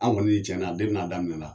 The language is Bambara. An kɔni tiɲɛ na n'a daminɛna